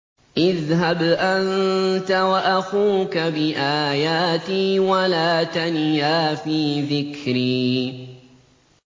اذْهَبْ أَنتَ وَأَخُوكَ بِآيَاتِي وَلَا تَنِيَا فِي ذِكْرِي